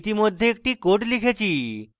ইতিমধ্যে একটি code লিখেছি